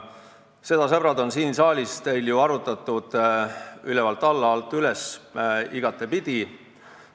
Seda, sõbrad, on teil siin saalis ju arutatud ülevalt alla, alt üles, igatepidi.